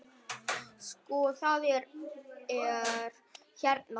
Sko, það er hérna þannig.